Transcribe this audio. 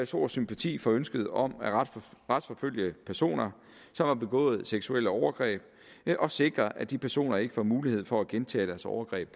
stor sympati for ønsket om at retsforfølge personer som har begået seksuelle overgreb ved at sikre at de personer ikke får mulighed for at gentage deres overgreb